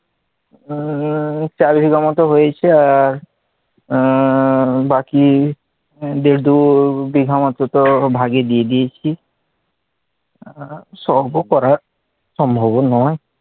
আহ চার বিঘা মত হয়েছে আর আহ বাকি দেড় দুই বিঘা মত ভাগে দিয়ে দিয়েছি, সবও করা সম্ভব ও নয়,